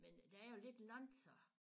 Men der er jo lidt langt så